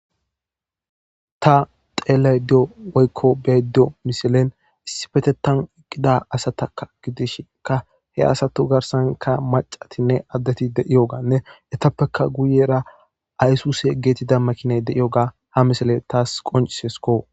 Ta xeellaydda diyo woykko be7aydda diyo mislen issippetettan eqqida asatakka gidishinkka he asatu garssankka maccatinne addeti de7iyogaanne etappekka guyyeera isuuse geetettida makiinay de7iyoogaa ha mislee taassi qonccissis koo.